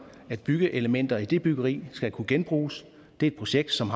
at byggeelementer i det byggeri skal kunne genbruges det er et projekt som